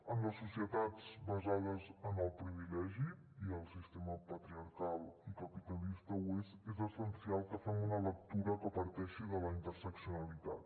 en les societats basades en el privilegi i el sistema patriarcal i capitalista ho és és essencial que fem una lectura que parteixi de la interseccionalitat